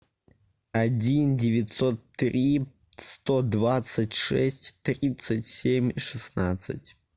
один девятьсот три сто двадцать шесть тридцать семь шестнадцать